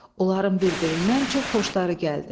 Onların bir-birindən çox xoşları gəldi.